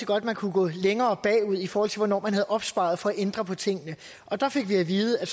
godt at man kunne gå længere bagud i forhold til hvornår man havde opsparet for at ændre på tingene og der fik vi at vide at